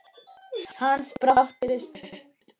Hans barátta var stutt.